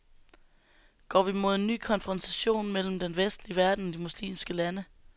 Går vi mod en ny konfrontation mellem den vestlige verden og de muslimske lande?